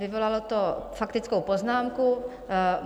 Vyvolalo to faktickou poznámku.